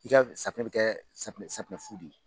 I ka safunɛ bɛ kɛ safunɛ safunɛ fu de ye.